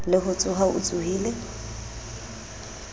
le ho tsoha o tsohile